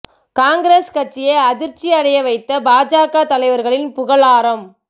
காங்கிரஸ் கட்சியை அதிர்ச்சி அடைய வைத்த பாஜக தலைவர்களின் புகழாரம்